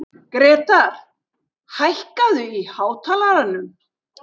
Grétar, hækkaðu í hátalaranum.